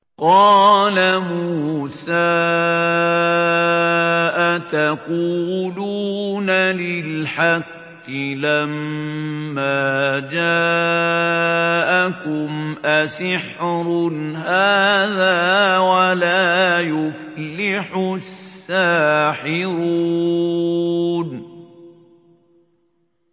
قَالَ مُوسَىٰ أَتَقُولُونَ لِلْحَقِّ لَمَّا جَاءَكُمْ ۖ أَسِحْرٌ هَٰذَا وَلَا يُفْلِحُ السَّاحِرُونَ